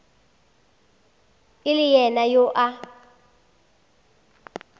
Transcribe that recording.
e le yena yo a